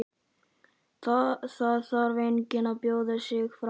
Það þarf enginn að bjóða sig fram.